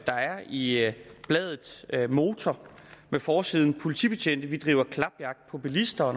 der er i bladet motor med forsiden politibetjente vi driver klapjagt på bilister